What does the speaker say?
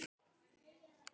Fellið af.